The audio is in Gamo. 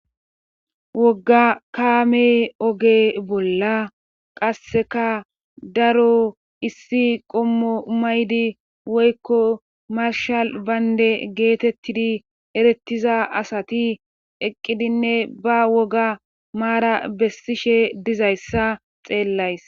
Wogga kaame oge bolla qasseka daro issi qommo maydi woykko marshal baynde geetettidi erettiza asati eqqidinne ba woga maara bessishe dizayssa xeellays